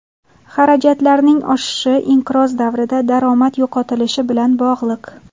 Xarajatlarning oshishi inqiroz davrida daromad yo‘qotilishi bilan bog‘liq.